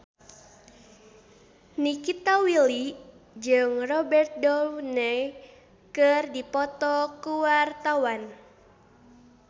Nikita Willy jeung Robert Downey keur dipoto ku wartawan